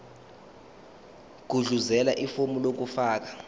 gudluzela ifomu lokufaka